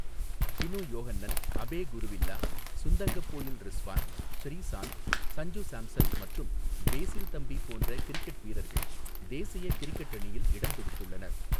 டினு யோஹன்னன், அபே குருவில்லா, சுந்தங்கபோயில் ரிஸ்வான், ஸ்ரீசாந்த், சஞ்சு சாம்சன் மற்றும் பேஸில் தம்பி போன்ற கிரிக்கெட் வீரர்கள் தேசிய கிரிக்கெட் அணியில் இடம்பிடித்துள்ளனர்.